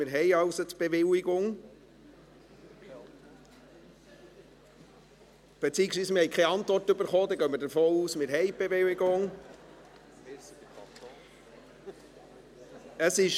Wir haben die Bewilligung, beziehungsweise keine Antwort erhalten, und gehen deshalb davon aus, dass wir die Bewilligung haben.